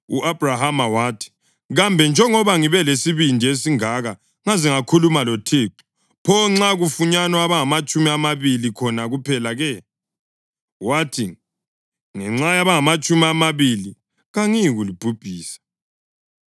U-Abhrahama wathi, “Kambe njengoba ngibe lesibindi esingaka ngaze ngakhuluma loThixo, pho nxa kufunyanwa abangamatshumi amabili khona kuphela-ke?” Wathi, “Ngenxa yabangamatshumi amabili kangiyikulibhubhisa.”